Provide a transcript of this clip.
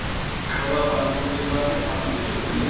ਸਵਾ ਪੰਜ ਖੁੱਲਦੀ ਹੈ ਸਾਡੇ ਪੰਜ ਤੁਸੀਂ ਉੱਠ ਜੋ